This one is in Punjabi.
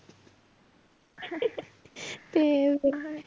ਤੇ